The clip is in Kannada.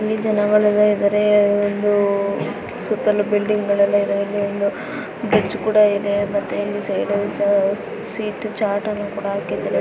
ಇಲ್ಲಿ ಜನಗಳು ಇದಾರೆ. ಇದು ಸುತ್ತಲು ಬಿಲ್ಡಿಂಗ್ ಗಳು ಇವೆ ಮತ್ತೆ ಬ್ರಿಜ್ ಕೂಡ ಇದೆ ಮತ್ತೆ ಸೀಟ್ ಚಾಟ್ ಅನ್ನು ಕೂಡ ಆಕಿಧಾರೆ.